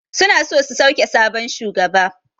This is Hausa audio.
Suna so su sauke sabon shugaba.